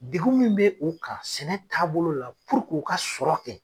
Degu min bɛ uu kan sɛnɛ taabolo la k'u ka sɔrɔ kɛ.